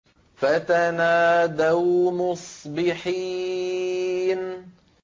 فَتَنَادَوْا مُصْبِحِينَ